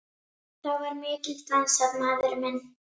Þá var mikið dansað, maður minn.